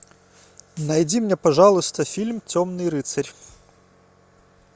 найди мне пожалуйста фильм темный рыцарь